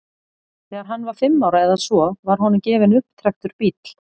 Þegar hann var fimm ára eða svo var honum gefinn upptrekktur bíll.